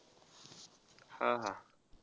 हा हा.